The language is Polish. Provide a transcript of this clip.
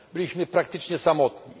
Byliśmy praktycznie samotni.